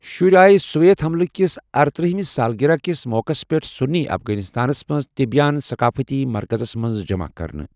شُرۍ آیہ سوویت حملہٕ كِس ارترٕہمس سالگرہ کِس موقعس پٮ۪ٹھ سُنی افغانستانس منٛز تبیان ثقٲفتی مرکزَس منٛز جمع کٔرنہٕ ۔